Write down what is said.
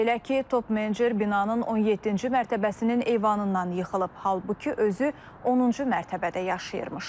Belə ki, top-menecer binanın 17-ci mərtəbəsinin eyvanından yıxılıb, halbuki özü 10-cu mərtəbədə yaşayırmış.